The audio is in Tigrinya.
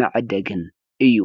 መዐደግን እዩ።